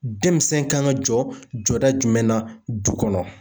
Denmisɛn kan ka jɔ jɔda jumɛn na du kɔnɔ